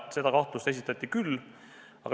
Seda kahtlust esitati küll.